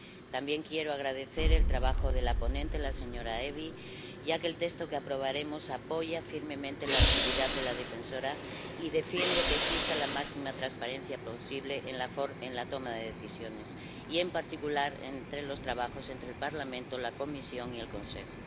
También quiero agradecer el trabajo de la ponente, la señora Evi, ya que el texto que aprobaremos apoya firmemente la actividad del Defensor del Pueblo y defiende que exista la máxima transparencia posible en la toma de decisiones y, en particular, en los trabajos entre el Parlamento, la Comisión y el Consejo.